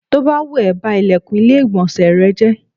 Tó bá wù ẹ́, ba ìlẹ̀kùn ilé ìgbọ̀nsẹ̀ rẹ jẹ́.